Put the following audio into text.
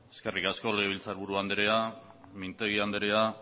eskerrik asko legebiltzarburu andrea mintegi anderea